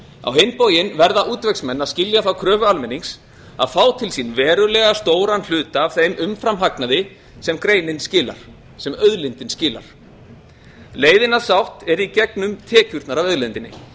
á hinn bóginn verða útvegsmenn að skilja þá kröfu almennings að fá til sín verulega stóran hluta af þeim umframhagnaði sem auðlindin skilar leiðin að sátt er í gegnum tekjurnar af auðlindinni